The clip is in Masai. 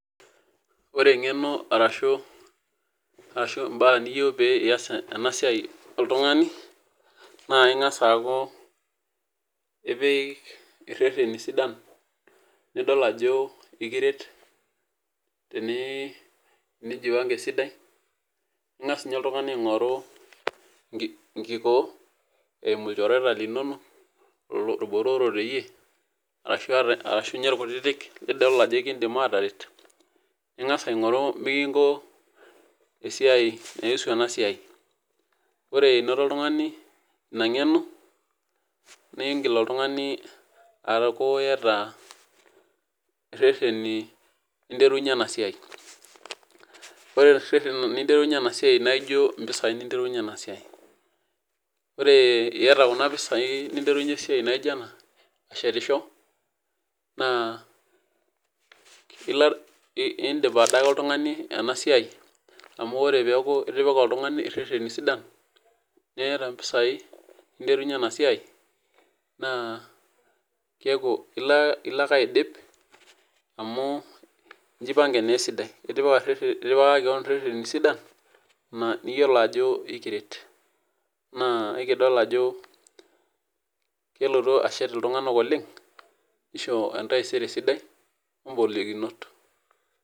ore engeno arashu imbaa nijo pe iyas ena siai oltungani, naa ing'as aaku ireteni sidan, nidol ajo ekiret tenijuanga esidai, ingas ninye oltungani aing'oru enkikoo eimu ilchoreta linonok ilbotorok teyiee, ashu ninye irkutitik lidol ajo ekidim aateret, ning'as aing'oru mikinko, esiai aniusu ena siai, ore inoto oltungani ina ng'eno ning'il oltungani aaku iyata ireteni linterunye ena siai, ore reteni linterunye ena siai naa ijo mpisai ninterunye ena siai, ore iyata kuna pisai ninterunye esiai naijo ena aashetisho, naa idip adake oltungani ena siai, emu ore peeku itipika oltungani, ireteni sidan niyata mpisai, ninterunye ena siai naa keeku ilo ake aidip, amu ijipange naa esiadi, itipika keon ireteni sidan niyiolo ajo ekiret, naa ekidol ajo kelotu ashet iltungank oleng nisho entaisere sidai golikinot.